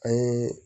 An ye